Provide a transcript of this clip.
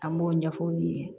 An b'o ɲɛf'u ye